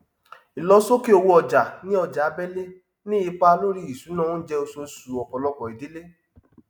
ìlọsókè owó ọjà ní ọjà abẹlé ni ipa lorí ìṣúná oúnjẹ oṣooṣù ọpọlọpọ ìdílé